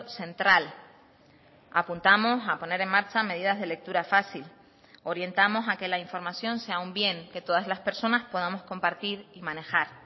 central apuntamos a poner en marcha medidas de lectura fácil orientamos a que la información sea un bien que todas las personas podamos compartir y manejar